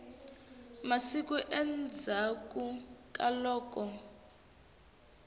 wa masiku endzhaklu ka loko